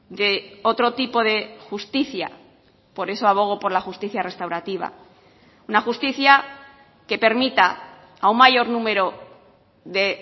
de otro tipo de justicia por eso abogo por la justicia restaurativa una justicia que permita a un mayor número de